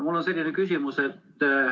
Mul on selline küsimus.